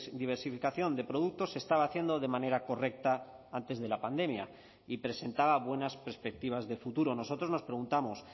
diversificación de productos se estaba haciendo de manera correcta antes de la pandemia y presentaba buenas perspectivas de futuro nosotros nos preguntamos